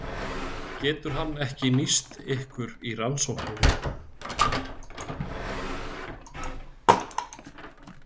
Getur hann ekki nýst ykkur í rannsókninni?